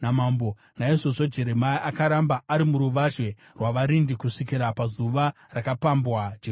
Naizvozvo Jeremia akaramba ari muruvazhe rwavarindi kusvikira pazuva rakapambwa Jerusarema.